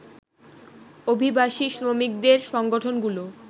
অভিবাসী শ্রমিকদের সংগঠনগুলো